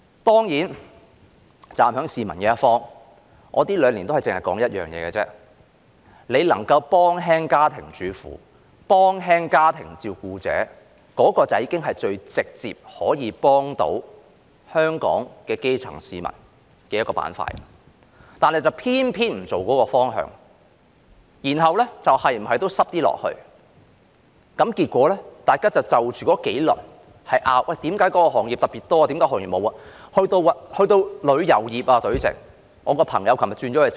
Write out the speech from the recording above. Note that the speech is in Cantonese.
當然，站在市民一方，這兩年我只是提出一點：若能幫助家庭主婦和家庭照顧者減輕負擔，那便已是最直接幫助到香港基層市民的方法，但政府偏偏不朝這方向走，然後有理沒理的擠出一些措施，結果大家就着那幾輪防疫抗疫基金爭論，為何某些行業獲得特別多的支援，而其他行業卻沒有？